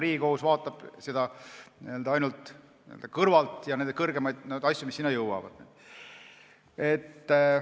Riigikohus vaatab seda ja neid asju, mis sinna jõuavad, ju ainult kõrvalt.